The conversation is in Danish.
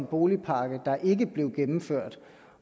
boligmarkedet